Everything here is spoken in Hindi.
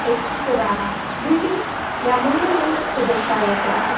एक पुराना बिल्डिंग या मॉन्यूमेंट को दर्शाया गया है।